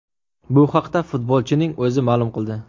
Bu haqda futbolchining o‘zi ma’lum qildi .